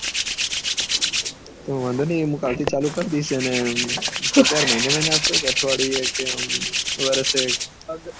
વાંધો નહી એ હું કાલ થી ચાલુ કર દઈશું એને પગાર મહીને મહીને આપસો કે અઠવાડિયે કે આમ વર્ષે